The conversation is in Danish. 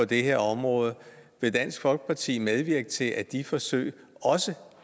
det her område vil dansk folkeparti medvirke til at de forsøg også